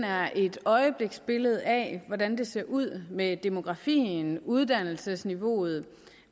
er et øjebliksbillede af hvordan det ser ud med demografien uddannelsesniveauet